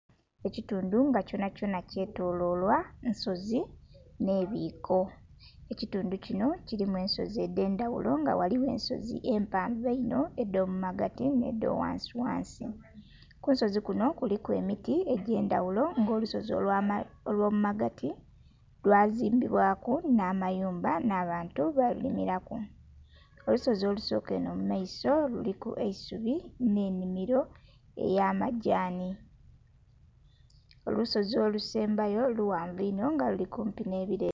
Ekitundu nga kyonhakyonha kyetoloilwa nsozi nh'ebiiko. Ekitundu kinho kilimu ensozi edh'endhaghulo, nga ghaligho ensozi empanvu einho, edh'omu magati nh'edha ghansighansi. Kunsozi kunho kuliku emiti egy'endhaghulo nga olusozi olw'omu magati lwazimbibwaku nh'amayumba, nh'abantu balimilaku. Olusozi olusooka enho mu maiso luliku eisubi nh'ennhimilo ey'amagyanhi. Olusozi olusembayo lughanvu inho nga luli kumpi nh'ebileli.